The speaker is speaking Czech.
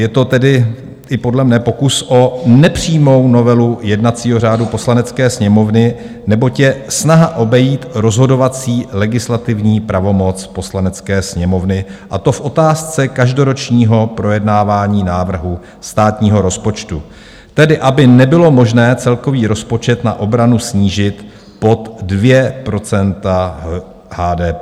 Je to tedy i podle mne pokus o nepřímou novelu jednacího řádu Poslanecké sněmovny, neboť je snaha obejít rozhodovací legislativní pravomoc Poslanecké sněmovny, a to v otázce každoročního projednávání návrhu státního rozpočtu, tedy aby nebylo možné celkový rozpočet na obranu snížit pod 2 % HDP.